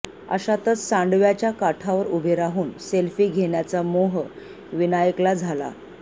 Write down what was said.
अशातच सांडव्याच्या काठावर उभे राहून सेल्फी घेण्याचा मोह विनायकला झाला